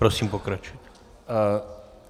Prosím, pokračujte.